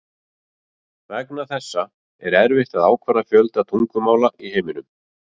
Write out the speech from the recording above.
Vegna þessa er erfitt að ákvarða fjölda tungumála í heiminum.